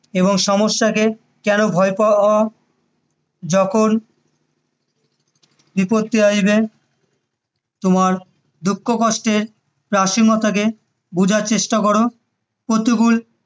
এবং সমস্যাকে কেন ভয় পাওয়া, যখন বিপত্তি আসবে, তোমার দুঃখকষ্টের প্রাসংগিকতাকে বোঝার চেষ্টা করো প্রতিকূল